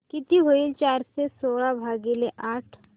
किती होईल चारशे सोळा भागीले आठ